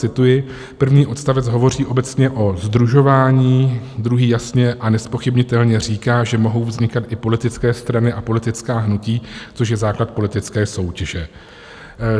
Cituji, první odstavec hovoří obecně o sdružování, druhý jasně a nezpochybnitelně říká, že mohou vznikat i politické strany a politická hnutí, což je základ politické soutěže.